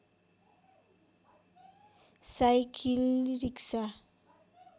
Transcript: cycle rickshaw